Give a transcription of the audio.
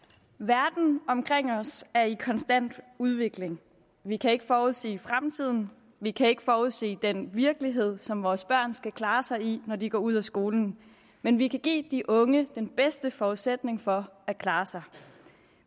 verden omkring os er i konstant udvikling vi kan ikke forudsige fremtiden vi kan ikke forudsige den virkelighed som vores børn skal klare sig i når de går ud af skolen men vi kan give de unge den bedste forudsætning for at klare sig